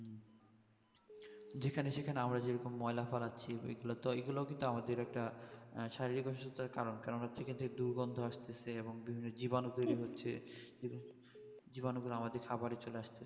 যেখানে সেখানে আমরা যেইরকম ময়লা ফ্যালাচ্ছি এই গুলোতো এগুলো তো আমাদের একটা শারীরিক অসুস্থতার কারণ কেননা থেকে দুর্গন্ধ আসতেছে এবং জীবাণু তৈরী হচ্ছে জীবাণু গুলো আমাদের খাবারে চলে আসছে